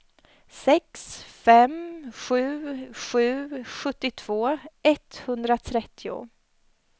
sex fem sju sju sjuttiotvå etthundratrettio